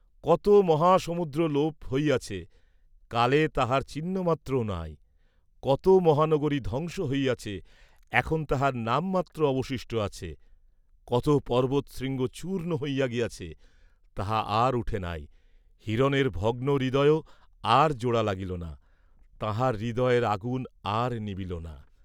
কত মহা সমুদ্র লোপ হইয়াছে কালে তাহার চিহ্ন মাত্রও নাই, কত মহানগরী ধ্বংস হইয়াছে এখন তাহার নাম মাত্র অবশিষ্ট আছে; কত পর্ব্বতশৃঙ্গ চূর্ণ হইয়া গিয়াছে, তাহা আর উঠে নাই, হিরণের ভগ্নহৃদয়ও আর জোড়া লাগিল না; তাঁহার হৃদয়ের আগুন আর নিবিল না!